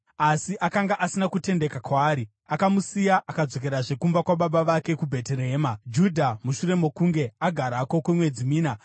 Asi akanga asina kutendeka kwaari. Akamusiya akadzokerazve kumba kwababa vake kuBheterehema, Judha. Mushure mokunge agarako kwemwedzi mina,